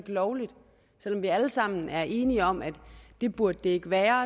lovligt selv om vi alle sammen er enige om at det burde det ikke være